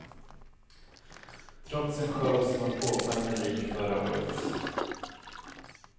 Trots en show som var påfallande lik förra årets.